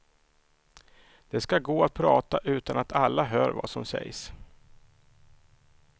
Det ska gå att prata utan att alla hör vad som sägs.